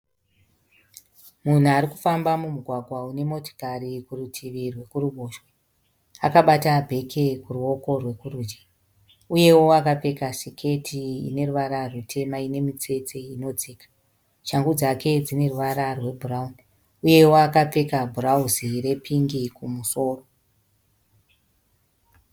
Munhu ari kufamba mumugwagwa une motikari kurutivi rwekuruboshwe akabata bheke kuruoko rwekurudyi. Uyewo akapfeka siketi ine ruvara rutema ine mitsetse inodzika. Shangu dzake dzine ruvara rwebhurauni uyewo akapfeka bhurauzi repingi kumusoro.